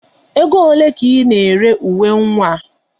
Ego ole ka Ị na-ere uwe nwa a?